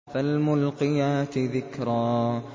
فَالْمُلْقِيَاتِ ذِكْرًا